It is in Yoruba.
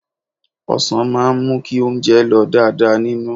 Ọ̀sàn máa ń mú kí oúnjẹ lọ̀ dáadáa nínú.